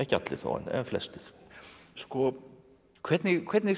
allir þó en flestir hvernig hvernig